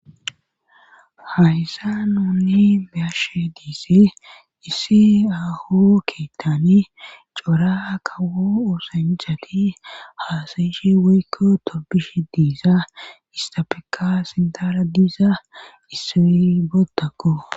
Hayssa nuunni beashe diise issi ahu keettani cora kawo oosanjati haasayishe weykko torbishe diisa istapeka sindara diisa issewi bootakko.